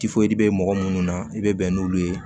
bɛ mɔgɔ minnu na i bɛ bɛn n'olu ye